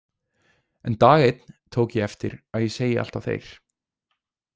En dag einn tók ég eftir að ég segi alltaf þeir.